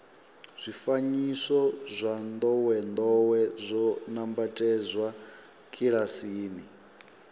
zwifanyiso zwa ndowendowe zwo nambatsedzwa kilasini